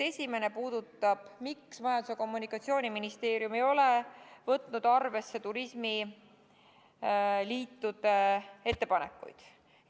Esimene puudutab seda, miks Majandus- ja Kommunikatsiooniministeerium ei ole võtnud arvesse turismiliitude ettepanekuid.